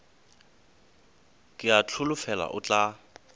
ke a holofela o tla